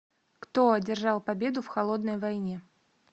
кто одержал победу в холодной войне